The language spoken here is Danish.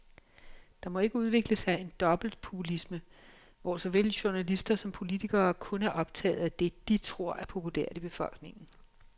Der må ikke udvikle sig en dobbeltpopulisme, hvor såvel journalister som politikere kun er optaget af det, de tror er populært i befolkningen.